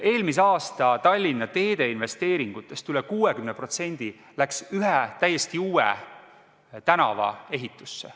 Eelmise aasta Tallinna teeinvesteeringutest üle 60% läks ühe täiesti uue tänava ehitusse.